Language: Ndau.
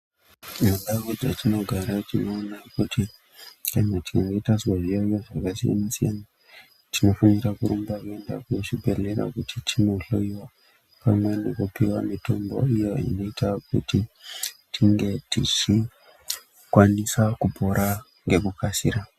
Mundau dzetinogara tinoona kuti tikange tazwa zviyaeyo zvakasiyana siyana tinofanira kurumba kuenda kuzvibhedhlera kuti tinohloyiwa pamwe nekupiwa mitombo iyo inoita kuti tinge tichi kwanisa kupora ngekukasira.